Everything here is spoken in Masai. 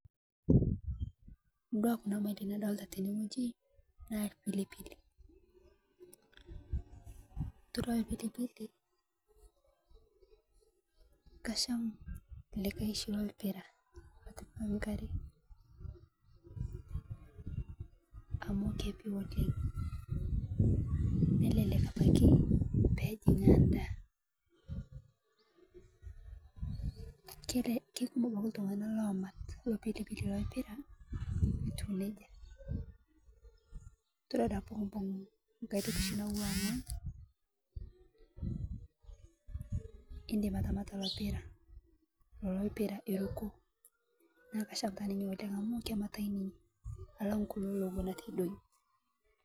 Dua kunaa tokitin nadolita teneng'oji ,naa lpilipili todua lpilipili naa kasham likae shii loopra otuwua ngare amuu kelelek peejing'aa ndaa kekumoo abaki ltung'ana loamat lopilipili lolpira etuuneja todua duake peyiekimbung' nyiatoki naatuwa ng'ony ,indim atamata lopiraa eruko naa kasham ninye oleng' amu kematai ninye alang kuloo lowuon eitedong'i.